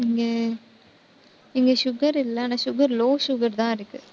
இங்க இங்க sugar இல்ல. ஆனா sugar, low sugar தான் இருக்கு.